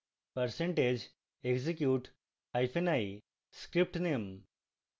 percentage execute hyphen i script name